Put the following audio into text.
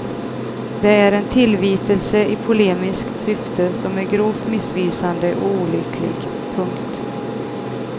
Det är en tillvitelse i polemiskt syfte som är grovt missvisande och olycklig. punkt